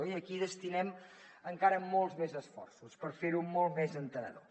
i aquí destinem encara molts més esforços per fer ho molt més entenedor